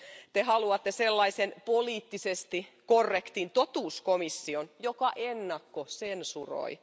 Te haluatte sellaisen poliittisesti korrektin totuuskomission, joka ennakkosensuroi.